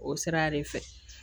O sira de fɛ